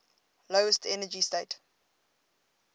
lowest energy state